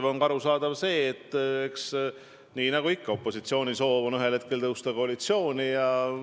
Ja on arusaadav ka see, et opositsiooni alatine soov on ühel hetkel tõusta koalitsiooni.